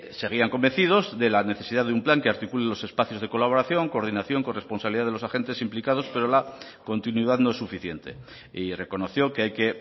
seguían convencidos de la necesidad de un plan que articule los espacios de colaboración coordinación corresponsabilidad de los agentes implicados pero la continuidad no es suficiente y reconoció que hay que